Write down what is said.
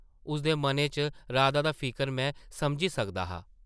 उसदे मनै च राधा दा फिकर में समझी सकदा हा ।